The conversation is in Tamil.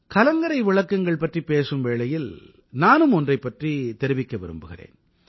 கலங்கரை விளக்கங்கள் பற்றிப் பேசும் வேளையில் நானும் ஒன்றைப் பற்றித் தெரிவிக்க விரும்புகிறேன்